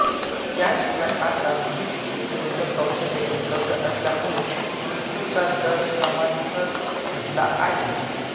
याशिवाय आता विष प्रतिरोधक औषधे उपलब्ध असल्यामुळे मृत्यूचा दर कमालीचा घटला आहे